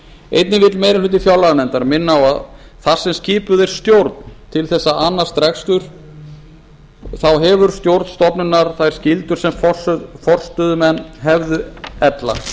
einnig vill meiri hluti fjárlaganefndar minna á að þar sem skipuð er stjórn til að annast rekstur hefur stjórn stofnunar þær skyldur sem forstöðumenn hefðu ella